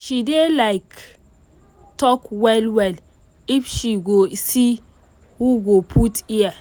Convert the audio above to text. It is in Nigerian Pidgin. she dey like talk well well if she go see who go put ear